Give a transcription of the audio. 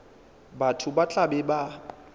batho ba tla be ba